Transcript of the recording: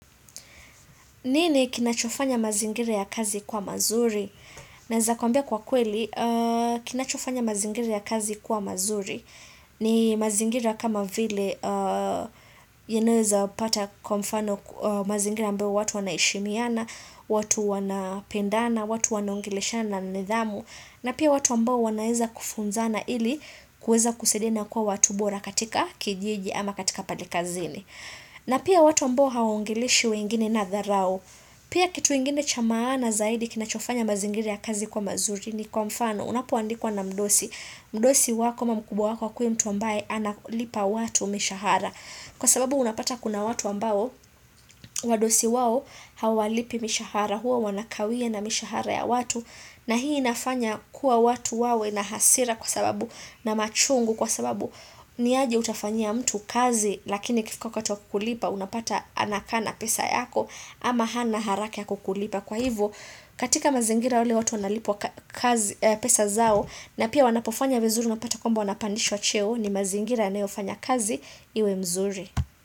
Nini kinachofanya mazingira ya kazi kuwa mazuri? Naweza kuambia kwa kweli, kinachofanya mazingira ya kazi kuwa mazuri. Ni mazingira kama vile, yanayoweza pata, kwa mfano, mazingira ambayo watu wanaheshimiana, watu wanapendana, watu wanaongeleshana na nidhamu. Na pia watu ambao wanaweza kufunzana ili kuweza kusaidiana kuwa watu bora katika kijiji ama katika pale kazini. Na pia watu ambao hawaongeleshi wengine na dharau. Pia kitu ingine cha maana zaidi kinachofanya mazingira ya kazi kuwa mazuri ni kwa mfano, unapoandikwa na mdosi. Mdosi wako ama mkubwa wako akue mtu ambaye analipa watu mishahara. Kwa sababu unapata kuna watu ambao wadosi wao hawalipi mishahara huwa wanakawia na mishahara ya watu. Na hii inafanya kuwa watu wawe na hasira kwa sababu na machungu kwa sababu ni aje utafanyia mtu kazi lakini ikifika wakati wa kukulipa unapata anakaa na pesa yako ama hana haraka ya kukulipa. Kwa hivyo, katika mazingira wale watu wanalipwa pesa zao na pia wanapofanya vizuri unapata kwamba wanapandishwa cheo ni mazingira anayofanya kazi iwe mzuri.